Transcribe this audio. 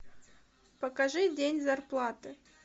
покажи день зарплаты